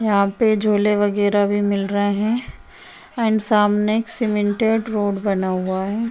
यहां पे झूले वगैरा भी मिल रहे है एंड सामने एक सीमेंटेड रोड बना हुआ है।